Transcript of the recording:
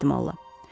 Böyük ehtimalla.